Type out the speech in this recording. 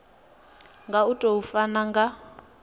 nga u tou funa nga